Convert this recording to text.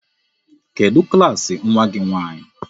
Kedụ klaasị nwa gị nwaanyị?